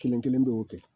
Kelen kelen bɛ o kɛ